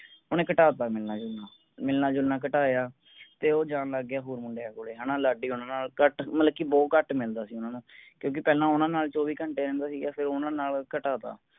ਓਹਨੇ ਘਟਾ ਤਾ ਮਿਲਣਾ ਜੁਲਣਾ, ਮਿਲਣਾ ਜੁਲਣਾ ਘਟਾਇਆ, ਤੇ ਉਹ ਜਾਣ ਲੱਗ ਗਿਆ ਹੋਰ ਮੁੰਡਿਆਂ ਕੋਲੇ, ਹੈਨਾ ਲਾਡੀ ਹੋਣਾ ਨਾਲ ਘਟ ਮਤਲਬ ਕਿ ਬਹੁਤ ਘਟ ਮਿਲਦਾ ਸੀ ਓਹਨਾ ਨੂੰ। ਕਿਉਂਕਿ ਪਹਿਲਾਂ ਓਹਨਾ ਨਾਲ ਚੋਵੀ ਘੰਟੇ ਰਹਿੰਦਾ ਸੀਗਾ ਫੇਰ ਓਹਨਾ ਨਾਲ ਘਟਾ ਤਾ।